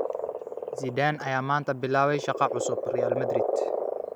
Zidane ayaa maanta bilaabaya shaqo cusub, Real Madrid